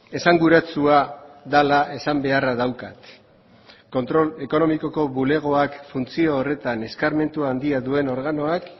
esanguratsua dela esan beharra daukat kontrol ekonomikoko bulegoak funtzio horretan eskarmentu handia duen organoak